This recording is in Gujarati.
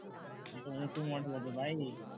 તો ઊંચું મોડેલ હતું ભાઈ